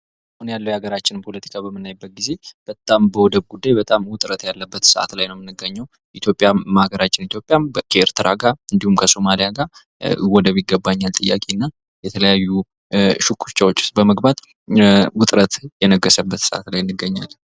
አሁን ያለውን የሀገራችንን ፖለቲካ በምናይበት ጊዜ በጣም በወደብ ጉዳይ በጣም ውጥረት ያለበት ሰዓት ላይ ነው የምንገኘው ። ኢትዮጵያም በሀገራችን ኢትዮጵያም ከኤርትራ እንዲሁም ከሶማሊያ ጋር ወደብ ይገባኛል ጥያቄ እና የተለያዩ ሽኩቻዎች ውስጥ በመግባት ውጥረት እየነገሰበት ሰዓት ላይ እንገኛለን ።